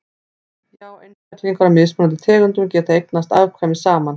já einstaklingar af mismunandi tegundum geta eignast afkvæmi saman